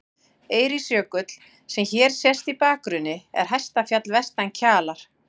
Eiríksjökull, sem hér sést í bakgrunni, er hæsta fjall vestan Kjalar.